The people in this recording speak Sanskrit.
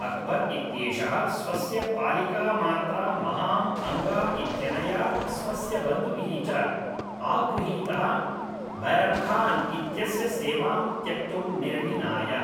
अक्बर् इत्येषः स्वस्य पालिकामात्रा महाम् अङ्गा इत्यनया स्वस्य बन्धुभिः च आगृहीतः बैरम् खान् इत्यस्य सेवां त्यक्तुं निर्णिनाय